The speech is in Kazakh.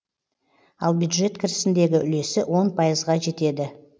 ал бюджет кірісіндегі үлесі он пайызға жетеді